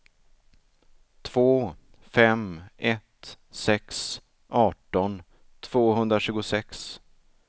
två fem ett sex arton tvåhundratjugosex